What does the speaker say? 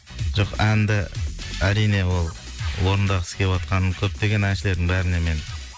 жоқ әнді әрине ол орындағысы кеватқан көптеген әншілердің бәріне мен